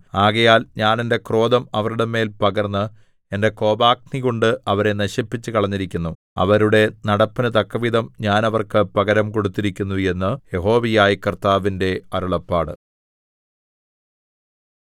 ആകയാൽ ഞാൻ എന്റെ ക്രോധം അവരുടെ മേൽ പകർന്ന് എന്റെ കോപാഗ്നികൊണ്ട് അവരെ നശിപ്പിച്ചുകളഞ്ഞിരിക്കുന്നു അവരുടെ നടപ്പിനു തക്കവിധം ഞാൻ അവർക്ക് പകരം കൊടുത്തിരിക്കുന്നു എന്നു യഹോവയായ കർത്താവിന്റെ അരുളപ്പാട്